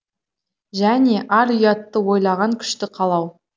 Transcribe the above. және ар ұятты ойлаған күшті қалау